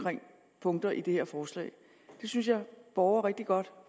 punkter i det her forslag det synes jeg borger rigtig godt